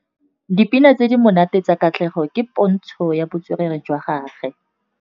Dipina tse di monate tsa Katlego ke pôntshô ya botswerere jwa gagwe.